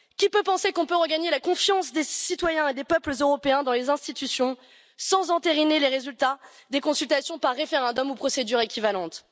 Qui peut penser qu'on peut regagner la confiance des citoyens et des peuples européens dans les institutions sans entériner les résultats des consultations par référendum ou procédure équivalente?